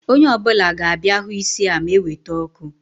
Onye ọ bụla ga-abịa hụ isi a ma eweta ọkụ